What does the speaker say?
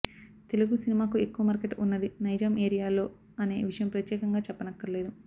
తెలుగు సినిమాకు ఎక్కువ మార్కెట్ ఉన్నది నైజాం ఏరియాలో అనే విషయం ప్రత్యేకంగా చెప్పనక్కర్లేదు